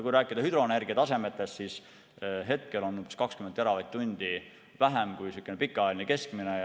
Kui rääkida hüdroenergia tasemest, siis hetkel on ressursse umbes 20 teravatt-tundi vähem kui pikaajaline keskmine.